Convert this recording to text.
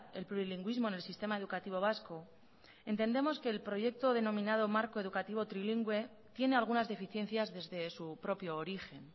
el plurilingüismo en el sistema educativo vasco entendemos que el proyecto denominado marco educativo trilingüe tiene algunas deficiencias desde su propio origen